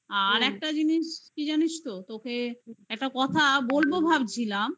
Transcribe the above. আর একটা জিনিস কি জানিস তো? তোকে একটা কথা বলব ভাবছিলাম হুম.